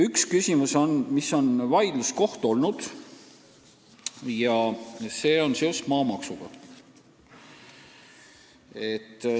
Üks vaidluskoht on olnud seoses maamaksuga.